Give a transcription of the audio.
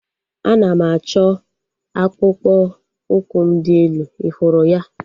Ana m achọ akpụkpọ ụkwụ m dị elu. Ị hụrụ ya?